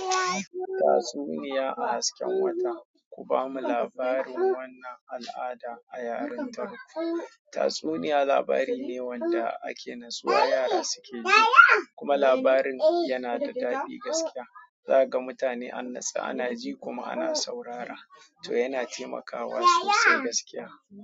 Tatsuniya a hasken wata, ku bamu labarin wannan al'ada a yarintaku. Tatsuniya labari ne wanda ake nasuwa yara suke ji, kuma labarin yana da daɗi gaskiya. Za ka ga mutane an nasa ana ji kuma ana saurara, to yana taimakawa sosai gaskiya.